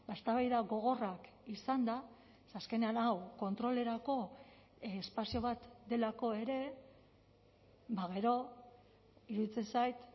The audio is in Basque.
eztabaida gogorrak izanda ze azkenean hau kontrolerako espazio bat delako ere gero iruditzen zait